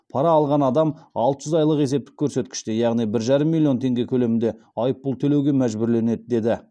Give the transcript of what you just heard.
пара алған адам алты жүз айлық есептік көрсеткіште яғни бір жарым миллион теңге көлемінде айыппұл төлеуге мәжбүрленеді деді